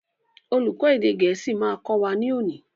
Olùkó èdè gẹ̀ẹ́sì ma kọ́ wa ní òní.